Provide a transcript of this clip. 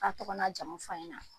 A' tɔgɔ n'a jamu f'an ɲɛ na.